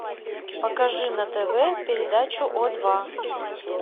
покажи на тв передачу о два